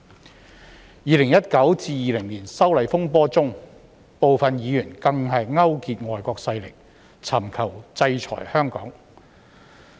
在2019年至2020年的修例風波中，部分議員更勾結外國勢力，尋求制裁香港。